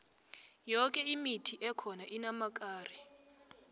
yoke imithi ekhona inamakari